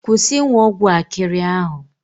Kwusi ịnwụ ọgwụ akịrị ahụ.